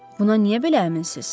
Buna niyə belə əminsiz?